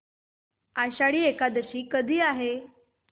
आषाढी एकादशी कधी आहे